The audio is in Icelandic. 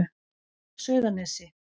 Sauðanesi